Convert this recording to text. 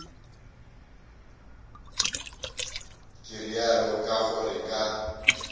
ke realo ka gore ka